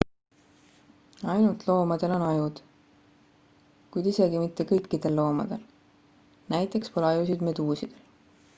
ainult loomadel on ajud kuid isegi mitte kõikidel loomadel; näiteks pole ajusid meduusidel